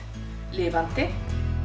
lifandi